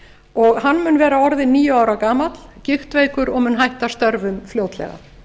og hann mun vera orðinn níu ára gamall gigtveikur og mun hætta störfum fljótlega